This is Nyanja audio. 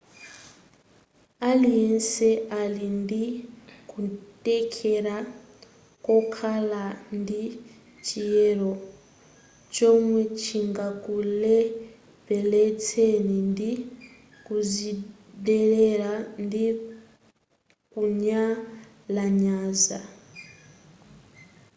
aliyense ali ndikuthekera kokhala ndi chiyero chomwe chingakulepheletseni ndi kuzidelera ndi kunyalanyaza